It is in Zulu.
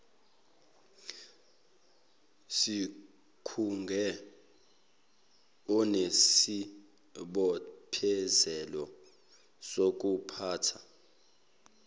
sikhungo unesibophezelo sokuphatha